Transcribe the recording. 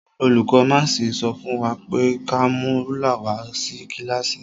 Olùkó máàsì sọ fún wa pé ka mú rúlà wa wá sí kílàsì.